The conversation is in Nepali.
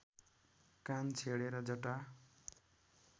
कान छेडेर जटा